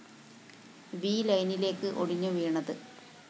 V ലൈനിലേക്ക് ഒടിഞ്ഞു വീണത്